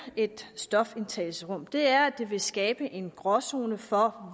et stofindtagelsesrum er at det vil skabe en gråzone for